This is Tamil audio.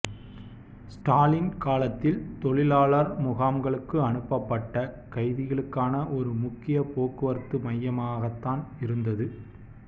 ஸ்டாலின் காலத்தில் தொழிலாளர் முகாம்களுக்கு அனுப்பப்பட்ட கைதிகளுக்கான ஒரு முக்கிய போக்குவரத்து மையமாக மகதான் இருந்தது